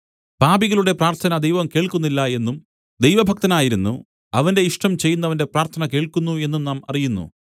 പാപികളുടെ പ്രാർത്ഥന ദൈവം കേൾക്കുന്നില്ല എന്നും ദൈവഭക്തനായിരുന്നു അവന്റെ ഇഷ്ടം ചെയ്യുന്നവന്റെ പ്രാർത്ഥന കേൾക്കുന്നു എന്നും നാം അറിയുന്നു